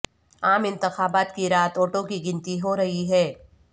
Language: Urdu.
عام انتخابات کی رات ووٹوں کی گنتی ہو رہی ہے